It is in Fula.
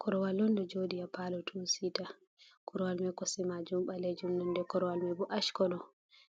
korowal on ɗo jooɗi haa paalo tuu siita, korowal mai kosɗe maajum ɓaleejum nonde korwal mai bo ashkolo,